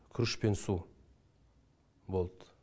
күріш пен су болды